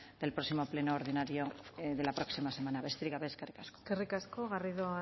de próximo pleno ordinario de la próxima semana besterik gabe eskerrik asko eskerrik asko garrido